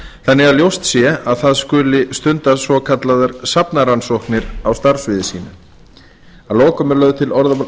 þannig að ljóst sé að það skuli stunda rannsóknir á starfssviði sínu að lokum er lögð til